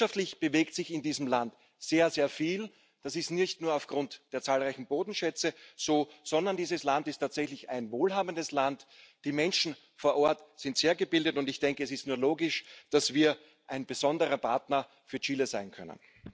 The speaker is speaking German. Wirtschaftlich bewegt sich in diesem Land sehr viel. Das ist nicht nur aufgrund der zahlreichen Bodenschätze so, sondern dieses Land ist tatsächlich ein wohlhabendes Land. Die Menschen vor Ort sind sehr gebildet, und ich denke, es ist nur logisch, dass wir ein besonderer Partner für Chile sein können.